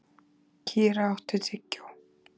Kíra, áttu tyggjó?